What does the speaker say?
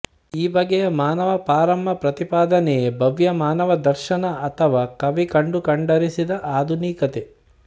ಈ ಬಗೆಯ ಮಾನವ ಪಾರಮ್ಮ ಪ್ರತಿಪಾದನೆಯೇ ಭವ್ಯ ಮಾನವ ದರ್ಶನ ಅಥವಾ ಕವಿ ಕಂಡು ಕಂಡರಿಸಿದ ಆಧುನಿಕತೆ